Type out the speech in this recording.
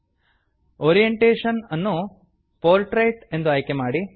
orientation orientation ಅನ್ನು portrait portrait ಎಂದು ಆಯ್ಕೆ ಮಾಡಿ